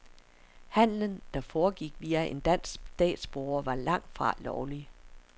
Handelen, der foregik via en dansk statsborger, var langt fra lovlig.